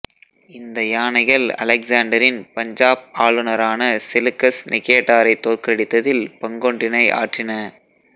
இந்த யானைகள் அலெக்ஸாண்டரின் பஞ்சாப் ஆளுநரான செலுக்கஸ் நிகேடாரை தோற்கடித்ததில் பங்கொன்றினை ஆற்றின